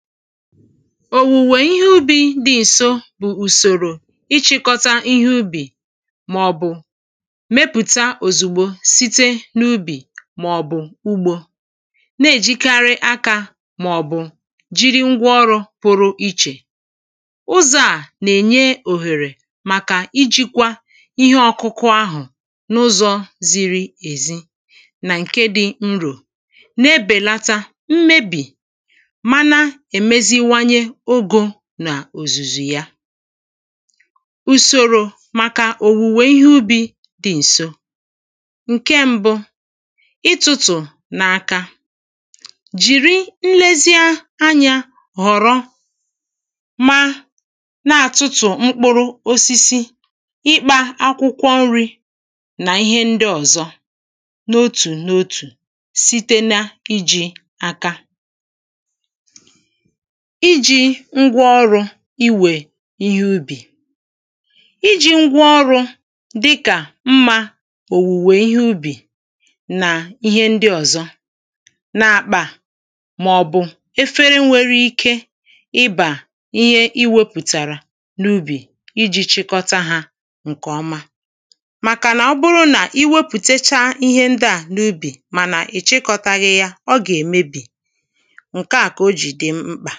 Òwùwè ihe ubī dị̄ ǹso bụ̀ ùsòrò ịchị̄kọ́tá ihe ubì màọ̀bụ̀ mepụ̀ta òzìgbo site n’ubì màọ̀bụ̀ ugbō na-èjikarị akā màọ̀bụ̀ jiri ngwa ọrụ̄ pụrụ ichè ụzọ̄ à nà-ènye òhèrè màkà ijīkwā ihe ọ̄kụ̄kụ̄ ahụ̀ n’ụzọ̄ ziri èzi nà ǹke dị̄ nrò na-èbèlátá mmebì mana èmeziwanye ogō nà òzùzù ya ùsòrò màkà òwùwè ihe ubī dị ǹso ǹke m̄bụ̄ ịtụ̄tụ̀ n’aka jìri nlezi anyā họ̀rọ ma na-àtụtụ̀ mkpụrụ osisi ịkpā akwụkwọ nrī nà ihe ndị ọ̀zọ n’otù n’otù site na ijī aka Ijī ngwa ọrụ̄ iwè ihe ubì ijī ngwa ọrụ̄ dịkà mmā òwùwè ihe ubì nà ihe ndị ọ̀zọ n’àkpà màọ̀bụ̀ efere nwere ike ịbà ihe ịwēpụ̀tàrà n’ubì ijī chịkọta hā ǹkè ọma màkànà ọbụrụ nà i wepụ̀tacha ihe ndị à n’ubì mànà ị̀chịkọtaghị̄ yá ọ gà-èmebì ǹke à kà ojì dị mkpà